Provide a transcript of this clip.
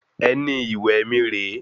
Ẹní ìwẹ̀ mí re e